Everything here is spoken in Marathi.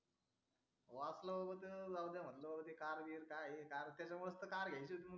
वाचल्यावर ते जाऊया म्हटलं कार ते काही कार बीर काही घ्यायचंच नाही म्हणलं